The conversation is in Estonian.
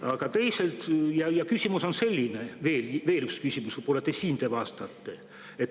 Aga teisalt on mu küsimus selline – veel üks küsimus, võib‑olla te sellele vastate.